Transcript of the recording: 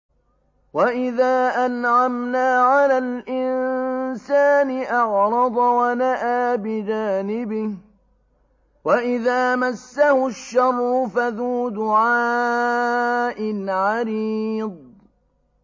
وَإِذَا أَنْعَمْنَا عَلَى الْإِنسَانِ أَعْرَضَ وَنَأَىٰ بِجَانِبِهِ وَإِذَا مَسَّهُ الشَّرُّ فَذُو دُعَاءٍ عَرِيضٍ